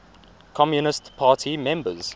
communist party members